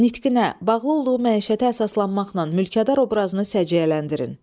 Nitqinə bağlı olduğu məişətə əsaslanmaqla mülkədar obrazını səciyyələndirin.